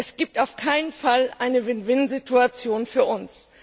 Es gibt auf keinen Fall eine Win win Situation für uns.